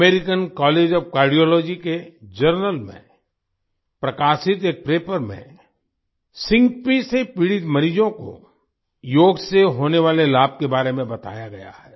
American College of Cardiology के journal में प्रकाशित एक पेपर में सिनकोप सिन्कपी से पीड़ित मरीजों को योग से होने वाले लाभ के बारे में बताया गया है